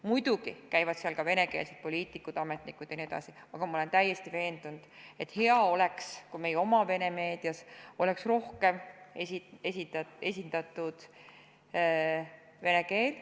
Muidugi käivad seal ka venekeelsed poliitikud, ametnikud jne, aga ma olen täiesti veendunud, et hea oleks, kui meie oma vene meedias oleks rohkem esindatud vene keel.